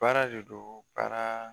Baara de don baara